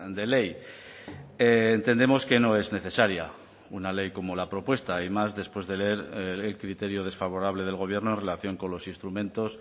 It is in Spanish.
de ley entendemos que no es necesaria una ley como la propuesta y más después de leer el criterio desfavorable del gobierno en relación con los instrumentos